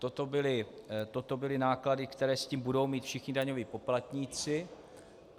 Toto byly náklady, které s tím budou mít všichni daňoví poplatníci.